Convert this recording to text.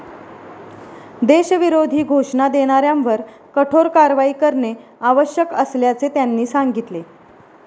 देशविरोधी घोषणा देणाऱ्यांवर कठोर कारवाई करणे आवश्यक असल्याचे त्यांनी सांगितले.